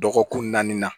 Dɔgɔkun naani na